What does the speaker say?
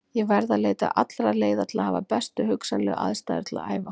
Ég verð að leita allra leiða til að hafa bestu hugsanlegu aðstæður til að æfa.